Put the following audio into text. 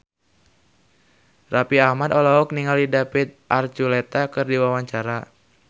Raffi Ahmad olohok ningali David Archuletta keur diwawancara